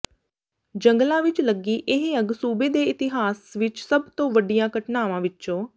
ਜੰਗਲਾਂ ਵਿਚ ਲੱਗੀ ਇਹ ਅੱਗ ਸੂਬੇ ਦੇ ਇਤਿਹਾਸ ਵਿਚ ਸਭ ਤੋਂ ਵੱਡੀਆਂ ਘਟਨਾਵਾਂ ਵਿੱਚੋ